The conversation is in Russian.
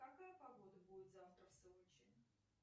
какая погода будет завтра в сочи